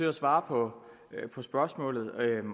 at svare på spørgsmålet